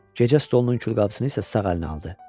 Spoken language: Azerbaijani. Gecə stolunun külqabısını isə sağ əlinə aldı.